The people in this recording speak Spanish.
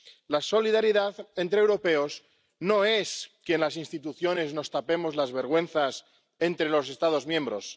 La solidaridad entre europeos no es que en las instituciones nos tapemos las vergüenzas entre los Estados miembros.